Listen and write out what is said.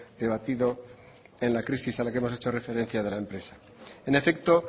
debatido en la crisis a la que hemos hecho referencia antes en efecto